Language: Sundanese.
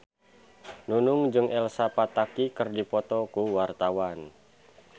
Nunung jeung Elsa Pataky keur dipoto ku wartawan